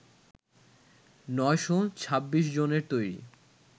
৯শ ২৬ জনের তৈরি